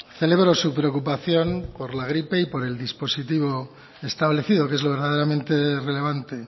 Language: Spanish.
celebro su preocupación por la gripe y por el dispositivo establecido que es lo verdaderamente relevante